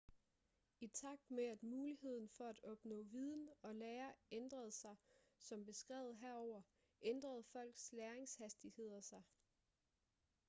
i takt med at muligheden for at opnå viden og lære ændrede sig som beskrevet herover ændrede folks læringshastigheder sig